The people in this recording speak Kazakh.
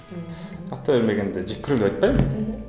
мхм жақтыра бермегенде жек көрем деп айтпаймын мхм